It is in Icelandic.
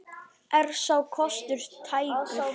Er sá kostur tækur?